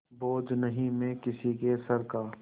बोझ नहीं मैं किसी के सर का